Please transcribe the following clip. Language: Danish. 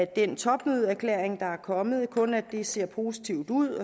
den topmødeerklæring der er kommet kun at det ser positivt ud